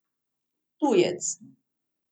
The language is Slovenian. Tujec.